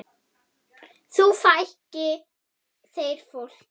Nú fækki þeir fólki.